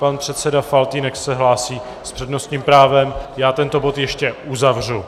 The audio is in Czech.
Pan předseda Faltýnek se hlásí s přednostním právem, já tento bod ještě uzavřu.